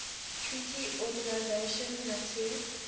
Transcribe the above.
treaty organization nato